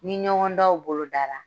Ni ɲɔgɔndanw bolodara